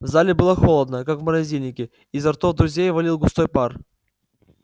в зале было холодно как в морозильнике изо ртов друзей валил густой пар